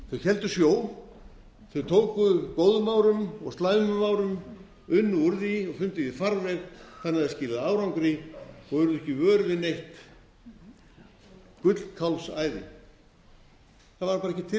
landsins héldu sjó þau tóku góðum árum og slæmum árum unnu úr því og fundu því farveg þannig að það skilaði árangri og urðu ekki vör við neitt gullkálfsæði það var bara ekki til